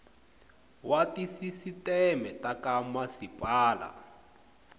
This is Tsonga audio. wa tisisiteme ta ka masipala